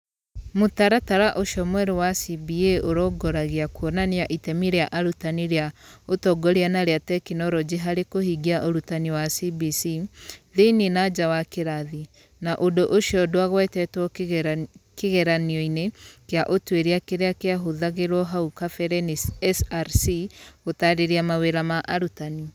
Mũtaratara ũcio mwerũ wa CBA ũrongoragia kuonania itemi rĩa arutani rĩa ũtongoria na rĩa tekinolonjĩ harĩ kũhingia ũrutani wa CBC thĩinĩ na nja wa kĩrathi, na ũndũ ũcio ndwagwetetwo kĩgeranio-inĩ kĩa ũtuĩria kĩrĩa kĩahũthagĩrũo hau kabere nĩ SRC gũtaarĩria mawĩra ma arutani.